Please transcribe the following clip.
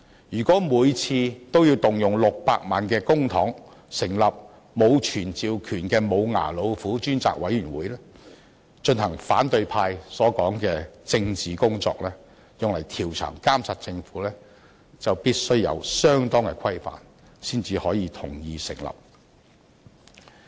如果每次均要動用600萬元公帑成立沒有傳召權的"無牙老虎"專責委員會，進行反對派所說的調查和監察政府的"政治工作"，就必須有相當的規範才可同意成立。